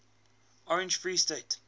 orange free state